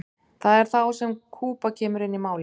það er þá sem kúba kemur inn í málið